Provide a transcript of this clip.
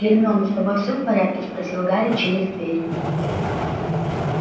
гермиона с тобой всё в порядке спросил гарри через дверь